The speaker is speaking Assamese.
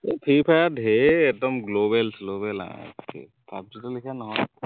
এৰ ফ্ৰি ফায়াৰ ধেৰ একদম global স্লবেল আৰু পাব জিটোৰ লেখীয়া নহয়